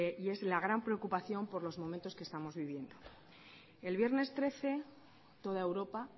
y es la gran preocupación por los momentos que estamos viviendo el viernes trece toda europa